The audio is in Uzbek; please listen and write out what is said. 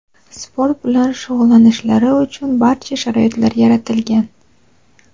sport bilan shug‘ullanishlari uchun barcha sharoitlar yaratilgan;.